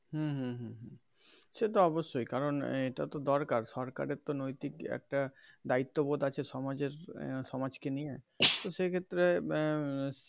হম হম হম সে তো অবশ্যই কারণ এটাও তো দরকার সরকারের তো নৈতিক একটা দায়িত্ববোধ আছে সমাজের সমাজ কে নিয়ে তো সেই ক্ষেত্রে আহ